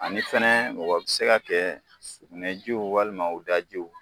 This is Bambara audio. Ani fɛnɛ mɔgɔ bi se ka kɛ u sukunɛjiw walima u dajiw